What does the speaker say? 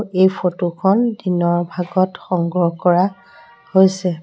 এই ফটোখন দিনৰ ভাগত সংগ্ৰহ কৰা হৈছে।